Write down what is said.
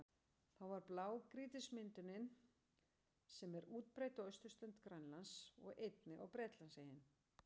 Þá varð til blágrýtismyndunin sem er útbreidd á austurströnd Grænlands og einnig á Bretlandseyjum.